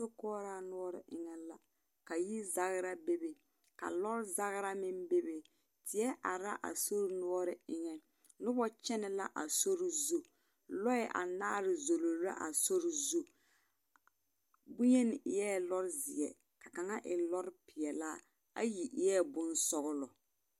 Sokoɔraa noɔre unnuu, ka yi zagra be be, ka lɔɔ zagra meŋ be be. Teɛ are laa sori noɔre eŋɛ, noba kyɛnɛ laa sori zu, lɔɛ anaare zoro la a sori zu, boŋyeni eɛ lɔɔ zeɛ, ka kaŋa e lɔɔpeɛlaa, ayi eɛ bonsɔglɔ.